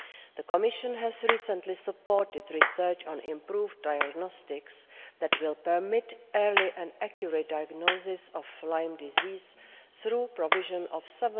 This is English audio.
EU. The Commission has recently supported research on improved diagnostics that will permit early and accurate diagnosis of Lyme disease through the provision of EUR